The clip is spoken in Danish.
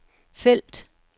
felt